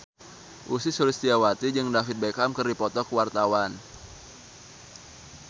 Ussy Sulistyawati jeung David Beckham keur dipoto ku wartawan